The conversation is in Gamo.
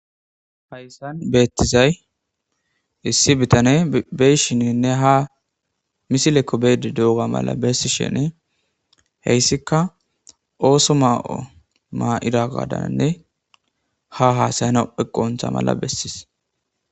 hayssan beettizay issi bitane beyshininne ha misilekko beedi dooga mala bessi shenee heyssika ooso maa7o maa7ira gaadananne ha haasayana eqontha mala bessis